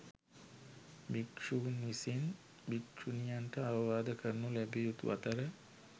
භික්‍ෂූන් විසින් භික්‍ෂුණියන්ට අවවාද කරනු ලැබිය යුතු අතර